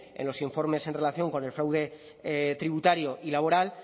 en los informes en relación con el fraude tributario y laboral